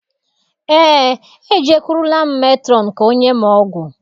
Eé, e jekụrụla m metrọn ka ọ nye m ọgwụ.